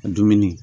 Dumuni